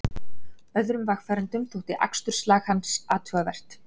Öðrum vegfarendum þótti aksturslag hans athugavert